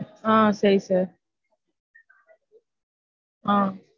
ஆஹ் சேரி sir